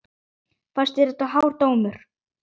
Fannst þér þetta hár dómur?